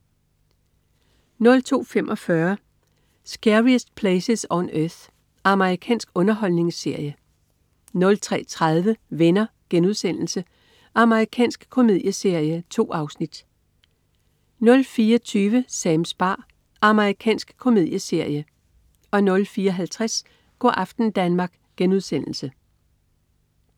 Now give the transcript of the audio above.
02.45 Scariest Places on Earth. Amerikansk underholdningsserie 03.30 Venner.* Amerikansk komedieserie. 2 afsnit 04.20 Sams bar. Amerikansk komedieserie 04.50 Go' aften Danmark*